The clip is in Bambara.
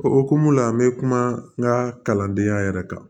O hokumu la n be kuma n ka kalandenya yɛrɛ kan